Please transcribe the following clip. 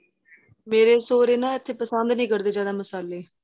ਮੇਰੇ ਸੁਹਰੇ ਨਾ ਏਥੇ ਪਸੰਦ ਨਹੀਂ ਕਰਦੇ ਜਿਹੜਾ ਮਸ਼ਾਲੇ